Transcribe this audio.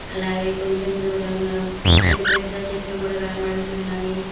అలాగే కొంచెం దూరంగా పెద్ద పెద్ద చెట్లు గూడ కనబడుతున్నాయి.